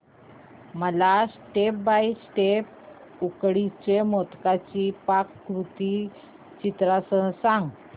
मला step by step उकडीच्या मोदकांची पाककृती चित्रांसह सांग